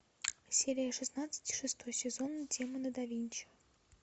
серия шестнадцать шестой сезон демоны да винчи